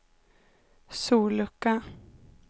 sollucka